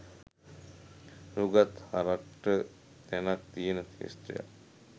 නූගත් හරක්ට තැනක් තියෙන ක්ෂේත්‍රයක්.